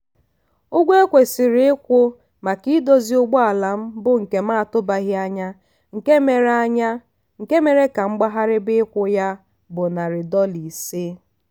ụgwọ ekwesiri ịkwụ maka idozi ụgbọala m bụ nke m atụbaghị anya nke mere anya nke mere ka m gbaghariba ịkwụ ya bụ nari dola ise.